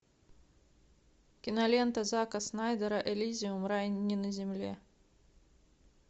кинолента зака снайдера эллизиум рай не на земле